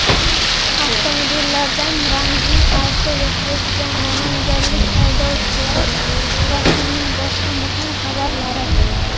avtomobillardan ramziy archa yasaydigan namanganlik haydovchilar va kunning boshqa muhim xabarlari.